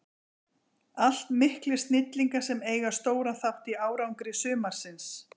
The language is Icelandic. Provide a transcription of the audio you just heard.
Allt miklir snillingar sem eiga stóran þátt í árangri sumarsins.